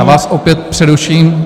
Já vás opět přeruším.